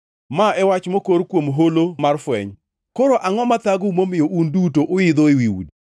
Ma e wach mokor kuom Holo mar Fweny: Koro angʼo mathagou momiyo un duto uidho ewi udi,